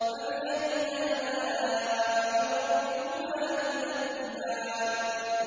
فَبِأَيِّ آلَاءِ رَبِّكُمَا تُكَذِّبَانِ